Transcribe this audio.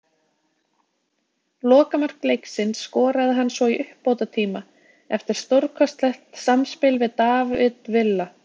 Lokamark leiksins skoraði hann svo í uppbótartíma eftir stórkostlegt samspil við David Villa.